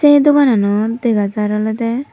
sey dogananot dega jar olodey.